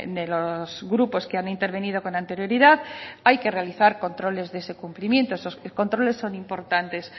de los grupos que han intervenido con anterioridad hay que realizar controles de ese cumplimiento esos controles son importantes